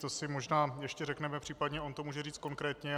To si možná ještě řekneme, příp. on to může říct konkrétně.